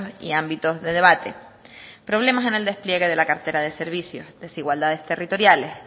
y ámbitos de debate problemas en el despliegue de la cartera de servicios desigualdades territoriales